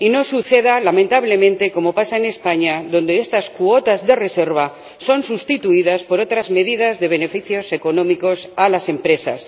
Y no suceda, lamentablemente, lo que pasa en España, donde estas cuotas de reserva son sustituidas por otras medidas de beneficios económicos a las empresas.